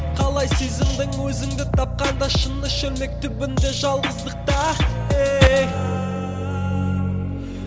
қалай сезіндің өзіңді тапқанда шыны шөлмек түбінде жалғыздықта еее